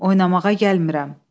Oynamağa gəlmirəm.